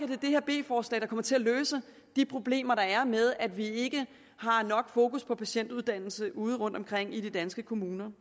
det her b forslag der kommer til at løse de problemer der er med at vi ikke har nok fokus på patientuddannelse ude rundtomkring i de danske kommuner